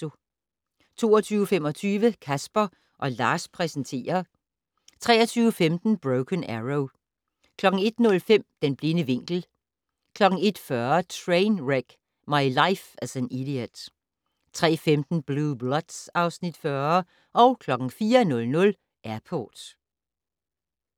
22:25: Casper & Lars præsenterer 23:15: Broken Arrow 01:05: Den blinde vinkel 01:40: Trainwreck: My Life as an Idiot 03:15: Blue Bloods (Afs. 40) 04:00: Airport